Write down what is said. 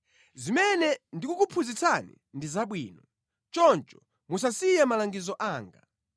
Zimene ndikukuphunzitsani ndi zabwino. Choncho musasiye malangizo anga.